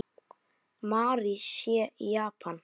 Mary sé í Japan.